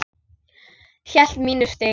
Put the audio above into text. Hélt mínu striki.